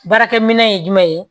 Baarakɛminɛn ye jumɛn ye